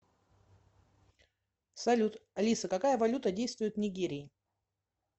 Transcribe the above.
салют алиса какая валюта действует в нигерии